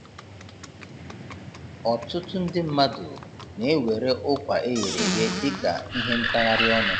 Ọtụtụ ndị mmadụ na-ewere ụkwa eghere eghe dịka ihe ntagharị ọnụ